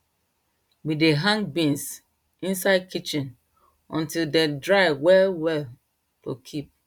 we dey hang beans inside kitchen until dem dry well well to kip